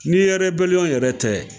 Ni rɛbɛliyɔn yɛrɛ tɛ